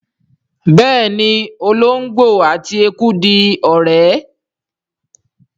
béèni olongbo àti ẹkú dì ọrẹ.